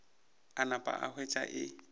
a napa a hwetša e